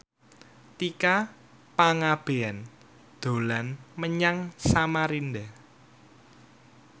Tika Pangabean dolan menyang Samarinda